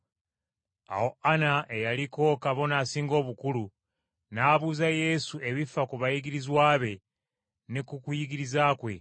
Awo Ana eyaliko Kabona Asinga Obukulu n’abuuza Yesu ebifa ku bayigirizwa be ne ku kuyigiriza kwe.